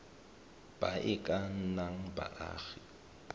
ba e ka nnang baagi